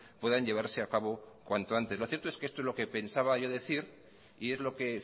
puedan llevarse a cabo cuanto antes lo cierto es que esto es lo que pensaba yo decir y es lo que